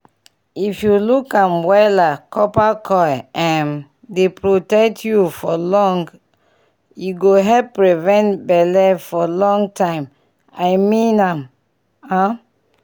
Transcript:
if u luk am wela copper coil um dey protect u for long e go help prevent belle for long time i mean am um.